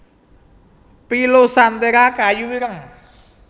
pilosanthera kayu ireng